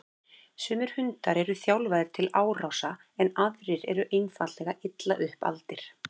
Sumir hundar eru þjálfaðir til árása en aðrir eru einfaldlega illa upp aldir.